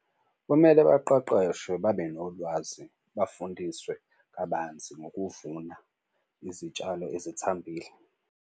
Kumele baqeqeshwe babe nolwazi, bafundiswe kabanzi ngokuvuna izitshalo ezithambile.